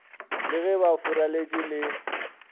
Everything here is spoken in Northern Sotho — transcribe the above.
le ge ba furaletše le